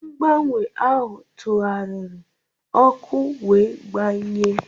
Mgbanwe ahụ tụgharịrị, ọkụ wee gbanye.